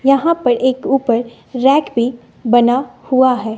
यहां पे एक ऊपर रेक भी बना हुआ है।